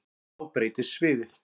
Þá breytist sviðið.